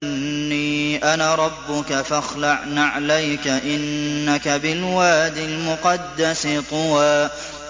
إِنِّي أَنَا رَبُّكَ فَاخْلَعْ نَعْلَيْكَ ۖ إِنَّكَ بِالْوَادِ الْمُقَدَّسِ طُوًى